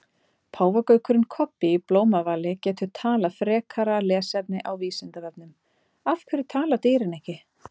Páfagaukurinn Kobbi í Blómavali getur talað Frekara lesefni á Vísindavefnum: Af hverju tala dýrin ekki?